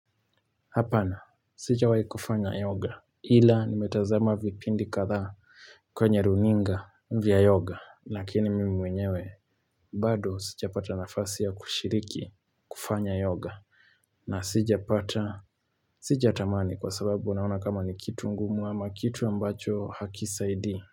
Hapana sija wai kufanya yoga ila nimetazama vipindi kadhaa kwenye runinga vya yoga lakini mimi mwenyewe bado sija pata nafasi ya kushiriki kufanya yoga na sija pata sija tamani kwa sababu unaona kama ni kitu ngumu ama kitu ambacho hakisaidii.